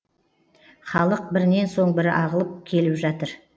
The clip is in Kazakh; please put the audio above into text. халық бірінен соң бірі ағылып келіп жатыр